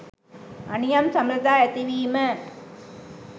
අනියම් සබඳතා ඇතිවීම